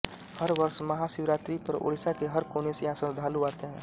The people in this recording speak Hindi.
हर वर्ष महाशिवरात्री पर ओड़िशा के हर कोने से यहाँ श्रद्धालु आते हैं